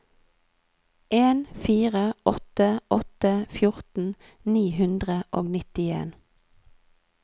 en fire åtte åtte fjorten ni hundre og nittien